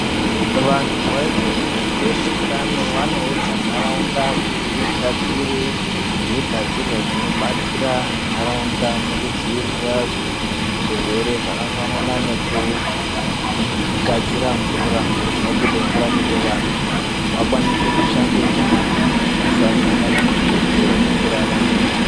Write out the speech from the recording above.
Vanhu vezveunyanzvi nezveutano vanoudza ntaraunda kuti igadzire zvigadzirwa dzinodetsera ntaraunda mukudzivirire zvirwere zvakafanana nekugadzira mvura, panobude mvura kuti vantu vakwanise kushambe nyara vasasangane nezvirwere mukurarama.